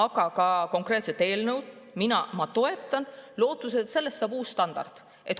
Seda konkreetset eelnõu ma toetan lootuses, et sellest saab uus standard.